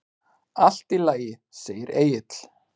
Allt í lagi, segir Egill.